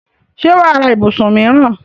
ṣé wà á ra ibùsùn míìràn?